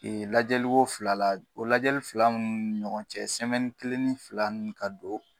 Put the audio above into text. Ee lajɛli ko fila la, o lajɛli fila nunnu ni ɲɔgɔn cɛ kelen ni fila ka don